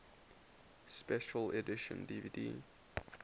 special edition dvd